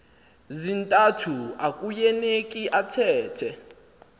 zintathu akueuneki athethe